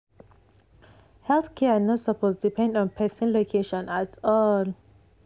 health care no suppose depend on person location at all.